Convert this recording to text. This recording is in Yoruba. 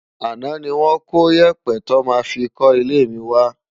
Aná ni wòn kó ókútá tò má fi kò ilé mi wá